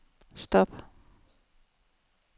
stop